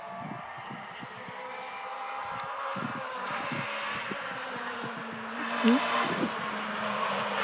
তোর তো সারাজীবন